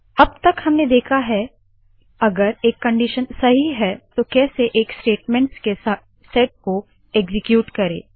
अब तक हमने देखा है अगर एक कंडीशन सही है तो कैसे एक स्टेटमेंट्स के सेट को एक्सीक्यूट करे